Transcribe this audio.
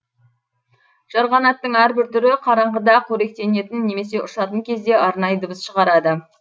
жарғанаттың әрбір түрі қараңғыда қоректенетін немесе ұшатын кезде арнайы дыбыс шығарады